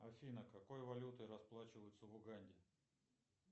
афина какой валютой расплачиваются в уганде